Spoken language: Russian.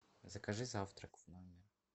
закажи завтрак в номер